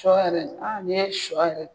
Shɔ yɛrɛ, a ni ye shɔ yɛrɛ.